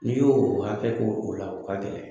N'i y'o hakɛ k'o o la o ka gɛlɛn